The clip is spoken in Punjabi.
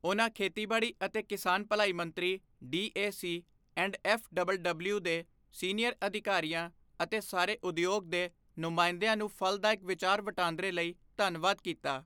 ਉਨ੍ਹਾਂ ਖੇਤੀਬਾੜੀ ਅਤੇ ਕਿਸਾਨ ਭਲਾਈ ਮੰਤਰੀ, ਡੀਏਸੀ ਐਂਡ ਐਫਡਬਲਡਬਲਯੂ ਦੇ ਸੀਨੀਅਰ ਅਧਿਕਾਰੀਆਂ ਅਤੇ ਸਾਰੇ ਉਦਯੋਗ ਦੇ ਨੁਮਾਇੰਦਿਆਂ ਨੂੰ ਫਲਦਾਇਕ ਵਿਚਾਰ ਵਟਾਂਦਰੇ ਲਈ ਧੰਨਵਾਦ ਕੀਤਾ।